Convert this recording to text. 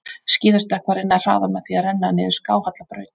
Skíðastökkvari nær hraða með því að renna niður skáhalla braut.